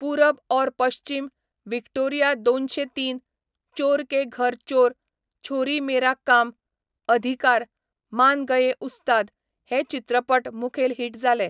पुरब और पश्चीम, व्हिक्टोरिया दोनशें तीन, चोर के घर चोर, छोरी मेरा काम, अधिकार, मान गये उस्ताद हे चित्रपट मुखेल हिट जाले.